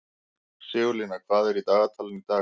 Sigurlína, hvað er í dagatalinu í dag?